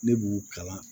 Ne b'u kalan